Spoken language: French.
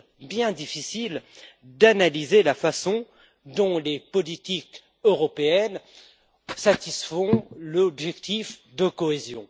bien difficile d'analyser la façon dont les politiques européennes satisfont l'objectif de cohésion.